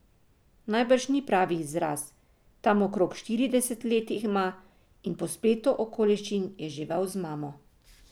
Najbrž ni pravi izraz, tam okrog štirideset let ima, in po spletu okoliščin je živel z mamo.